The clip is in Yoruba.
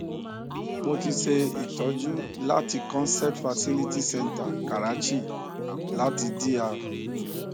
mo ti ṣe itoju láti concept fertility centre karachi láti dr